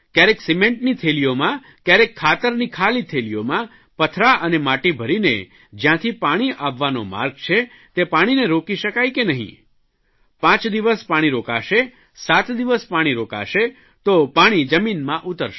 કયારેક સિમેન્ટની થેલીઓમાં કયારેય ખાતરની ખાલી થેલીઓમાં પથરા અને માટી ભરીને જયાંથી પાણી આવવાનો માર્ગ છે તે પાણીને રોકી શકાય કે નહીં પાંચ દિવસ પાણી રોકાશે સાત દિવસ પાણી રોકાશે તો પાણી જમીનમાં ઉતરશે